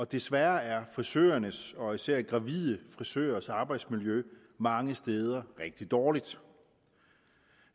desværre er frisørernes og især gravide frisørers arbejdsmiljø mange steder rigtig dårligt